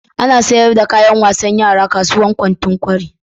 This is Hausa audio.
Ana sayar da kayan wasan yara kasuwar kantin kwari.